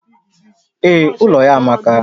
Ee, ụlọ ya amaka